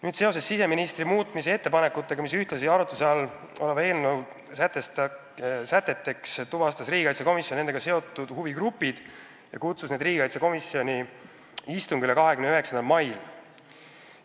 Nüüd, seoses siseministri muudatusettepanekutega, mis on arutluse all oleva eelnõu säteteks, tuvastas riigikaitsekomisjon nendega seotud huvigrupid ja kutsus nad komisjoni istungile 29. mail.